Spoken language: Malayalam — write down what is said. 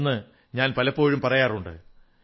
എന്നു ഞാൻ എപ്പോഴും പറയാറുണ്ട്